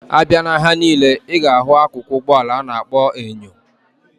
Abia na ahia nile, iga ahu akụkụ Ụgbọ ala ana akpo enyo.